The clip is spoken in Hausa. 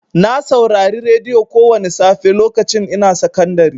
Na saurari radiyo kowani safe lokacin ina sakandari.